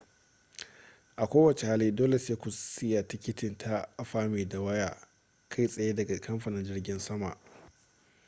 a ko wace hali dole sai ku siya tiketi ta afami da waya kai tsaye daga kamfanin jirgin saman